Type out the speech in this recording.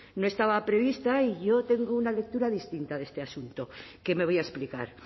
no estaba prevista y yo tengo una lectura distinta de este asunto que me voy a explicar